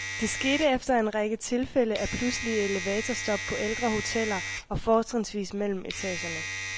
Det skete efter en række tilfælde af pludselige elevatorstop på ældre hoteller og fortrinsvis mellem etagerne.